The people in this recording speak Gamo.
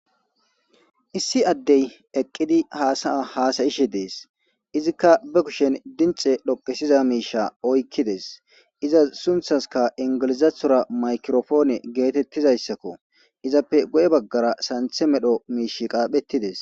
issi addey eqqidi haasaya haasayishe dees izikka be kushen dinxe dhoqesiza miisha oykkides iza sunthaska ingilizathora makirofoone geetettizayssakko izappe guye baggara santhe medho miish qaaphettides